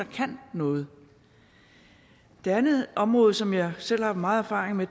kan noget det andet område som jeg selv har meget erfaring med